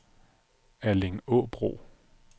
Allingåbro